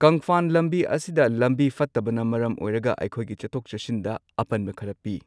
ꯀꯪꯐꯥꯟ ꯂꯝꯕꯤ ꯑꯁꯤꯗ ꯂꯝꯕꯤ ꯐꯠꯇꯕꯅ ꯃꯔꯝ ꯑꯣꯏꯔꯒ ꯑꯩꯈꯣꯏꯒꯤ ꯆꯠꯊꯣꯛ ꯆꯠꯁꯤꯟꯗ ꯑꯄꯟꯕ ꯈꯔ ꯄꯤ꯫